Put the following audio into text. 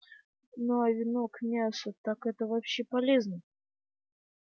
ну а вино к мясу так это вообще полезно